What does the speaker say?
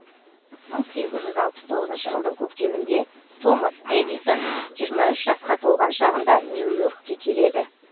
мың сегіз жүз алпыс тоғызыншы жылдың көктемінде томас эдисон жиырма үш жасқа толған шағында нью йоркке келеді